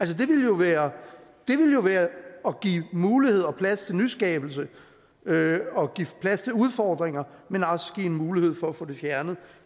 det ville jo være at give muligheder og plads til nyskabelse og give plads til udfordringer men også give en mulighed for at få det fjernet